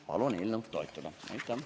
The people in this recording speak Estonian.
Palun eelnõu toetada!